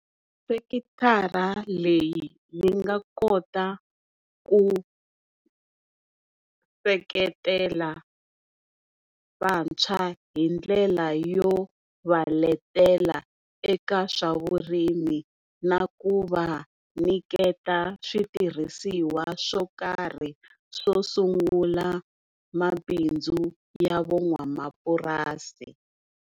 Sekithara leyi yi nga kota ku seketela vantshwa hindlela yo va letela eka swa vurimi na ku va nyiketa switirhisiwa swo karhi swo sungula mabindzu ya vo n'wamapurasi.